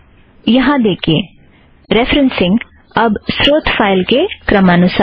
यहाँ देखिए रेफ़रेन्ससिंग अब स्रोत फ़ाइल के क्रमानुसार है